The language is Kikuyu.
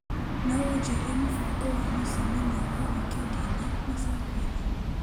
No ũnjĩre mũbango wa mũcemanio wa wikendi ĩno macakothi?